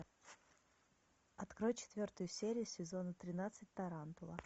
открой четвертую серию сезона тринадцать тарантула